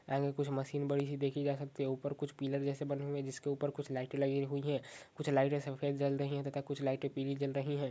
ऐसे कुछ मशीन बड़ी सी देख सकते हैं ऊपर कुछ पिल्लर जैसे बने हुए हैं जिसके ऊपर कुछ लाइटें लगी हुई हैं कुछ लाइटें सफेद जल रही हैं और कुछ लाइटें पीली जल रही हैं।